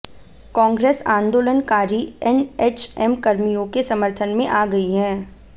कांग्रेस आंदोलनकारी एनएचएम कर्मियों के समर्थन में आ गई है